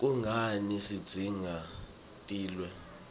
kungani sitidzinga tilwne